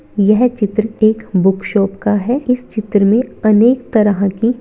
यह चित्र एक बुक शॉप का है इस चित्र मे अनेक तरह के--